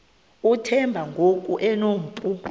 uthemba ngoku enompu